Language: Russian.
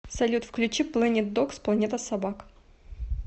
салют включи плэнит догс планета собак